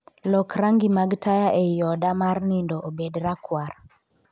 Lok rangi mag taya ei oda mar nindo obed rakwar